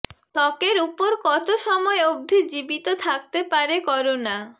ত্বকের উপর কত সময় অবধি জীবিত থাকতে পারে করোনা